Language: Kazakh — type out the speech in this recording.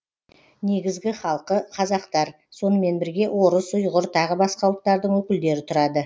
негізгі халқы қазақтар сонымен бірге орыс ұйғыр тағы басқа ұлттардың өкілдері тұрады